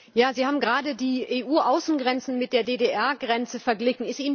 Sie haben gerade die EU Außengrenzen mit der DDR Grenze verglichen.